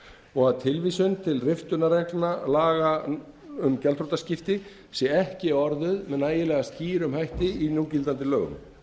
og að tilvísun til riftunarreglna laga um gjaldþrotaskipti sé ekki orðuð með nægilega skýrum hætti í gildandi lögum